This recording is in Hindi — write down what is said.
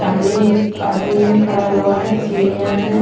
सामने एक आदमी खड़ा हुआ है सीढ़ियां हैं।